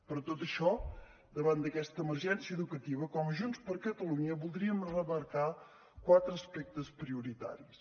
per tot això davant d’aquesta emergència educativa com a junts per catalunya voldríem remarcar quatre aspectes prioritaris